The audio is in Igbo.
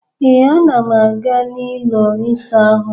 Ee, ana m aga n'ụlọ ịsaahụ